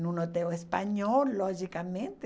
num hotel espanhol, logicamente.